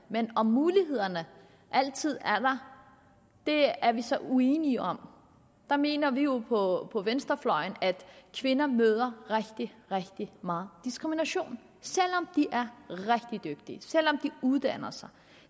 men om mulighederne altid er der er vi så uenige om der mener vi jo på venstrefløjen at kvinder møder rigtig rigtig meget diskrimination selv om de er rigtig dygtige selv om de uddanner sig